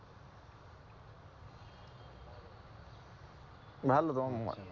ভালো